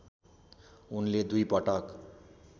उनले दुई पटक